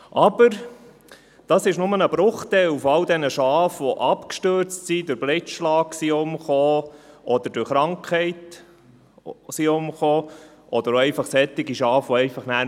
Aber das ist nur ein Bruchteil von all den Schafen, die abgestürzt, durch Blitzschlag oder durch Krankheiten umgekommen sind oder einfach nicht mehr gefunden wurden.